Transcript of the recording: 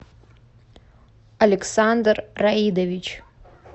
александр раидович